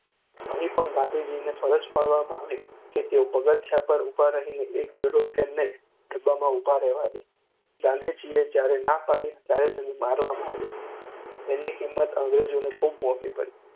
અહીં પણ ગાંધીજીને ફરજ પાડવામાં આવી કે તેઓ પગથિયા પર ઊભા રહીને એક યુરોપિયનને ડબ્બામાં ઊભા રહેવા દે. ગાંધીજીએ જ્યારે ના પાડી ત્યારે તેમને મારવામાં આવ્યા. એની કિંમત અંગ્રેજોને ખૂબ મોંઘી પડી.